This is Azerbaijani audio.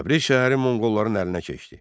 Təbriz şəhəri monqolların əlinə keçdi.